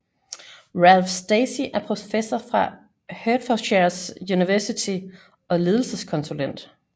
Ralph Stacey er professor fra Hertfordshire University og ledelseskonsulent